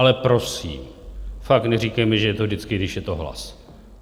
Ale prosím, fakt neříkejme, že je to vždycky, když je to o hlas.